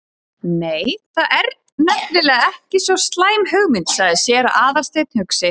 Nei, það er nefnilega ekki svo slæm hugmynd- sagði séra Aðalsteinn hugsi.